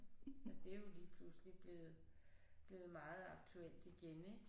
Ja det er jo lige pludselig blevet blevet meget aktuelt igen ik